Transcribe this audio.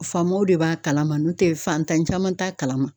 Faamaw de b'a kalama n'o tɛ fantan caman t'a kalama.